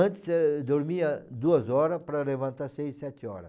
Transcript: Antes eu dormia duas horas para levantar seis, sete horas.